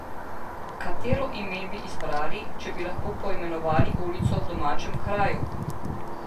Katero ime bi izbrali, če bi lahko poimenovali ulico v domačem kraju?